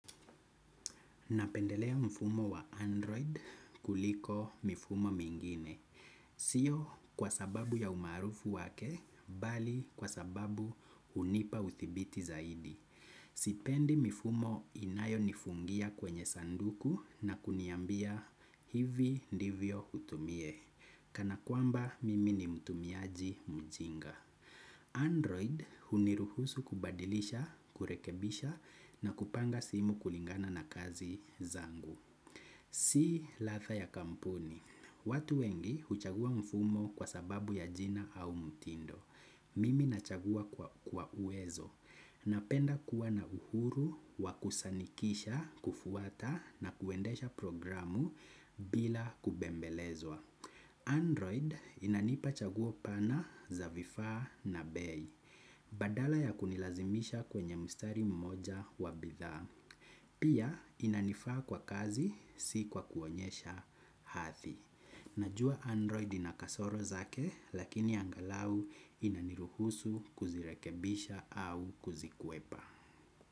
Napendelea mfumo wa Android kuliko mifumo mengine. Sio kwa sababu ya umaarufu wake, bali kwa sababu hunipa uthibiti zaidi. Sipendi mifumo inayonifungia kwenye sanduku na kuniambia hivi ndivyo utumie. Kana kwamba mimi ni mtumiaji mjinga. Android huniruhusu kubadilisha, kurekebisha na kupanga simu kulingana na kazi zangu. Si ladha ya kampuni. Watu wengi huchagua mfumo kwa sababu ya jina au mtindo. Mimi nachagua kwa uwezo. Napenda kuwa na uhuru, wa kusanikisha, kufuata na kuendesha programu bila kubembelezwa Android inanipa chaguo pana za vifaa na bei. Badala ya kunilazimisha kwenye mstari mmoja wa bidhaa. Pia inanifaa kwa kazi si kwa kuonyesha hadhi. Najua Android ina kasoro zake lakini angalau inaniruhusu kuzirekebisha au kuzikwepa.